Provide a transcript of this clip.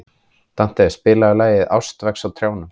Dante, spilaðu lagið „Ástin vex á trjánum“.